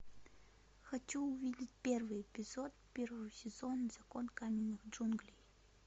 хочу увидеть первый эпизод первого сезона закон каменных джунглей